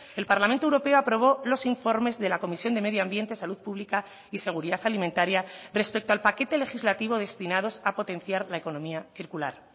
el parlamento europeo aprobó los informes de la comisión de medioambiente salud pública y seguridad alimentaria respecto al paquete legislativo destinados a potenciar la economía circular